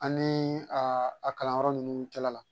Ani a kalanyɔrɔ ninnu cɛla la